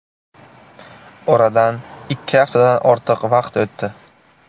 Oradan ikki haftadan ortiq vaqt o‘tdi.